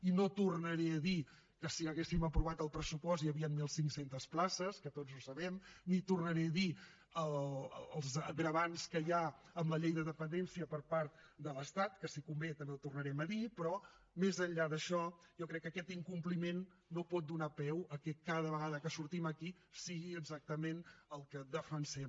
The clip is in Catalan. i no tornaré a dir que si haguéssim aprovat el pressupost hi havien mil cinc cents places que tots ho sabem ni tornaré a dir els greuges que hi ha amb la llei de dependència per part de l’estat que si convé també ho tornarem a dir però més enllà d’això jo crec que aquest incompliment no pot donar peu al fet que cada vegada que sortim aquí sigui exactament el que defensem